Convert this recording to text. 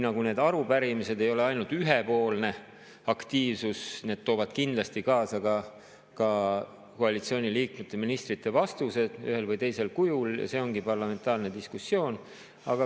Need arupärimised ei ole ainult ühepoolne aktiivsus, vaid need toovad kindlasti kaasa ka koalitsiooniliikmete, ministrite vastused ühel või teisel kujul ja see ongi parlamentaarne diskussioon.